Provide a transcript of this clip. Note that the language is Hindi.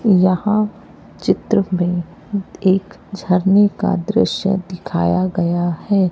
यहां चित्र में एक झरने का दृश्य दिखाया गया है।